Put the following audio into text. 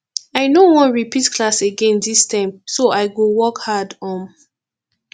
i no wan repeat class again dis term so i go work hard um